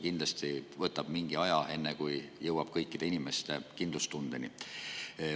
Kindlasti võtab see mingi aja, enne kui jõuame selleni, et kõikidel inimestel on kindlustunne.